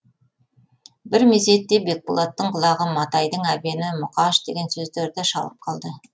бір мезетте бекболаттың құлағы матайдың әбені мұқаш деген сөздерді шалып қалды